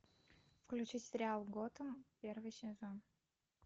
включи сериал готэм первый сезон